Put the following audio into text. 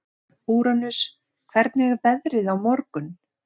Úranus, hvernig er veðrið á morgun?